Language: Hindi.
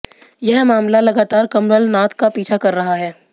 यह मामला लगातार कमलनाथ का पीछा कर रहा है